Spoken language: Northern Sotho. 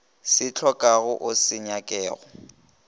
se hlokago o se nyakago